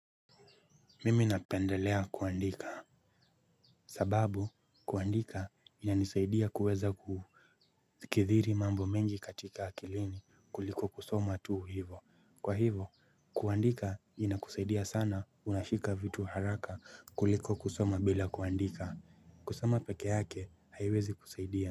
Mimi napendelea kuandika sababu kuandika inanisaidia kuweza kufikiri mambo mengi katika akilini kuliko kusoma tuu hivo. Kwa hivo kuandika inakusaidia sana, unashika vitu haraka kuliko kusoma bila kuandika. Kusoma peke yake haiwezi kusaidia.